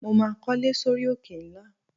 Mo máa kólé sórí òkè ńlá.